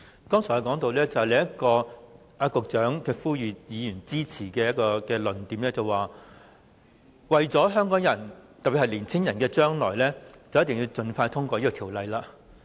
剛才我提到司長呼籲議員支持時，他說到為了香港人，特別是為了年青人的將來，我們便必須盡快通過《條例草案》。